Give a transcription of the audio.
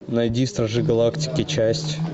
найди стражи галактики часть